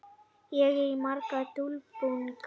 Ég á marga dulbúninga.